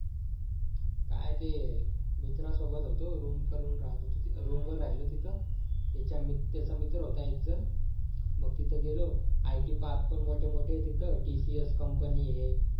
काय ते मित्रा सोबत होतो room करून राहत होतो room वर राहिलो तिथं त्याचा मित्र होता एक जण मग तिथे गेलो IT park पण मोठे मोठे आहेत तिथे TCS company आहे